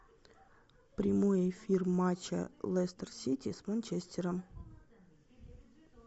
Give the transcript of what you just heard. прямой эфир матча лестер сити с манчестером